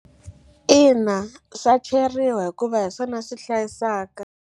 Ina swa cheriwa hikuva hi swona swi hlayisaka.